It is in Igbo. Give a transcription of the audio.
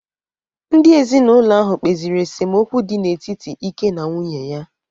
Ndị ezinaụlọ ahụ kpesiri esemokwu dị n’etiti Ike na nwunye ya